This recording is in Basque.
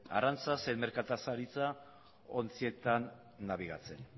arrantza zein merkataritza ontzietan nabigatzen